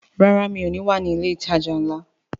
Rárá, mi ò ní wà ní ilé ìtajà ńlá